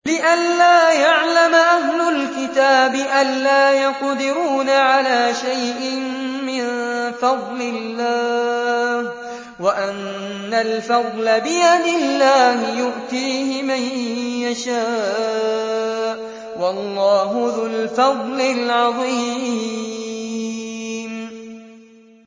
لِّئَلَّا يَعْلَمَ أَهْلُ الْكِتَابِ أَلَّا يَقْدِرُونَ عَلَىٰ شَيْءٍ مِّن فَضْلِ اللَّهِ ۙ وَأَنَّ الْفَضْلَ بِيَدِ اللَّهِ يُؤْتِيهِ مَن يَشَاءُ ۚ وَاللَّهُ ذُو الْفَضْلِ الْعَظِيمِ